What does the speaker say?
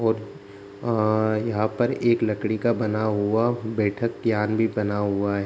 और अ यहाँ पर एक लकड़ी का बना हुआ बैठक यान भी बना हुआ है।